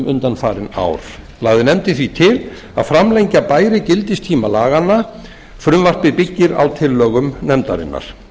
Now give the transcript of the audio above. undanfarin ár lagði nefndin því til a framlengja bæri gildistíma laganna frumvarpið byggir á tillögum nefndarinnar